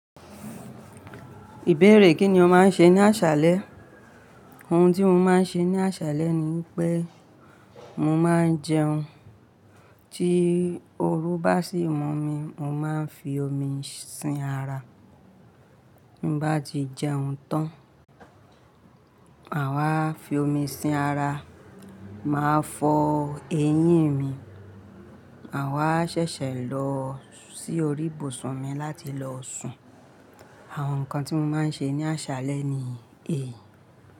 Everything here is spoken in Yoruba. Ìbéèrè kí ni o máa ń ṣe ní àṣálẹ́? Ohun tí mo máa ń ṣe ní àṣálẹ́ ni pé mo máa ń jẹun, tí oru bá sì mọ́ mi, mo máa ń fi omi sin ara. Bí bá ti jẹun tán, àwa fi omi sin ara, màá fọ eyín mi, màwa ṣẹ̀ṣẹ̀ lọ sí orí ìbùsùn mi láti lọ sùn. Àwọn nǹkan tí mo máa ń ṣe ní àṣálẹ́ ni èyí.